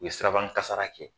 U ye siraban kasara kɛ